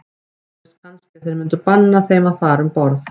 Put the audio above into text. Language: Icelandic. Óttuðust kannski að þeir myndu banna þeim að fara um borð.